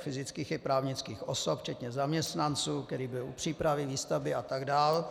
fyzických i právnických osob včetně zaměstnanců, kteří byli u přípravy, výstavby a tak dále.